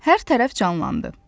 Hər tərəf canlandı.